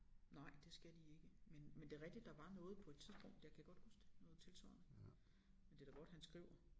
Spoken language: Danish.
Nej det skal de ikke men men det er rigtigt der var noget på et tidspunkt jeg kan godt huske det noget tilsvarende men det da godt han skriver